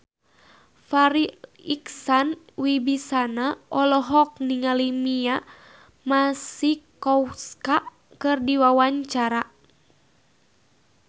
Farri Icksan Wibisana olohok ningali Mia Masikowska keur diwawancara